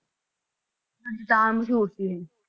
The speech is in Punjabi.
ਹਾਂਂਜੀ ਤਾਂ ਮਸ਼ਹੂਰ ਸੀ ਇਹ।